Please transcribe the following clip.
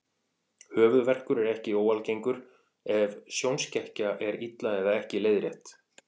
Höfuðverkur er ekki óalgengur ef sjónskekkja er illa eða ekki leiðrétt.